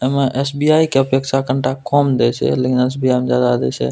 एमे एस.बी.आई. के अपेक्षा कनटा कम देए छै लेकिन एस.बी.आई. में ज्यादा दे छै।